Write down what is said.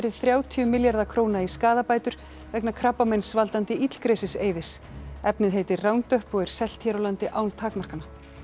þrjátíu milljarða króna í skaðabætur vegna krabbameinsvaldandi illgresis efnið heitir Roundup og er selt hér á landi án takmarkana